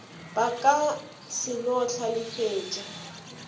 ba ka se no hlalefetša